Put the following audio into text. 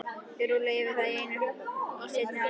Þið rúllið yfir þá í seinni hálfleik!